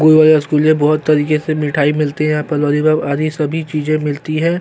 गोल वाले रसगुल्ले बहुत तरीके से मिठाई मिलती है यहाँ पर आदि सभी चीज मिलती है।